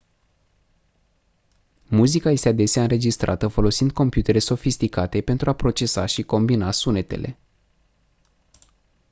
muzica este adesea înregistrată folosind computere sofisticate pentru a procesa și combina sunetele